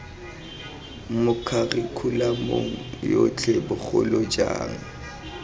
mo kharikhulamong yotlhe bogolo jang